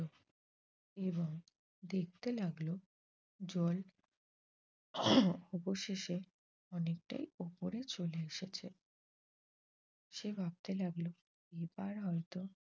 এবং দেখতে লাগল জল অবশেষে অনেকটাই ওপরে চলে এসেছে। সে ভাবতে লাগল এবার হয়ত